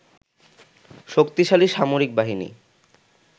শক্তিশালী সামরিক বাহিনী